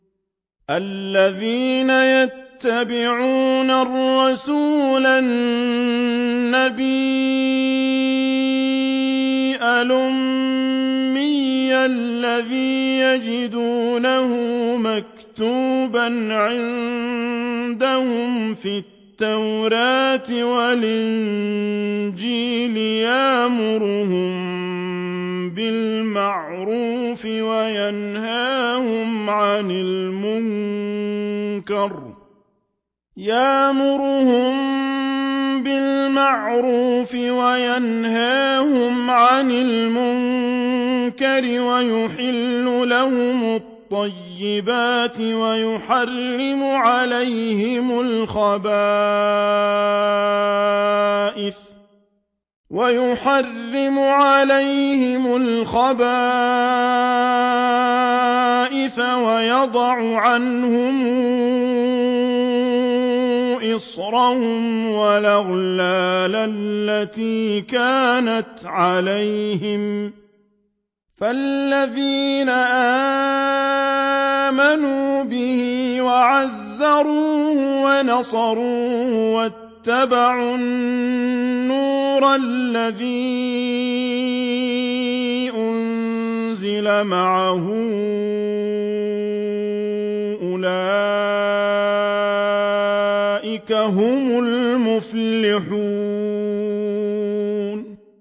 الَّذِينَ يَتَّبِعُونَ الرَّسُولَ النَّبِيَّ الْأُمِّيَّ الَّذِي يَجِدُونَهُ مَكْتُوبًا عِندَهُمْ فِي التَّوْرَاةِ وَالْإِنجِيلِ يَأْمُرُهُم بِالْمَعْرُوفِ وَيَنْهَاهُمْ عَنِ الْمُنكَرِ وَيُحِلُّ لَهُمُ الطَّيِّبَاتِ وَيُحَرِّمُ عَلَيْهِمُ الْخَبَائِثَ وَيَضَعُ عَنْهُمْ إِصْرَهُمْ وَالْأَغْلَالَ الَّتِي كَانَتْ عَلَيْهِمْ ۚ فَالَّذِينَ آمَنُوا بِهِ وَعَزَّرُوهُ وَنَصَرُوهُ وَاتَّبَعُوا النُّورَ الَّذِي أُنزِلَ مَعَهُ ۙ أُولَٰئِكَ هُمُ الْمُفْلِحُونَ